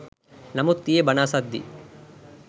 නමුත් ඊයෙ බණ අසද්දී